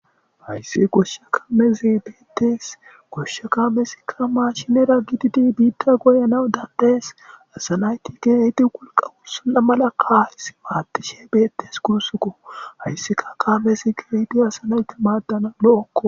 hayssi goshshe kamezi bettees goshsha kamezikka mashshinera gididi biita goyanaw danda'ees assa naytti ke'idi wolqqa wurssona mala kamezi madishshe beettes gusukko hayssikka kamezi ke'idi assa nayti madanas lo'okko